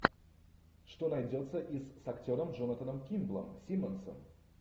что найдется из с актером джонатаном кимблом симмонсом